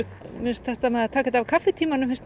mér finnst þetta með að taka þetta af kaffitímanum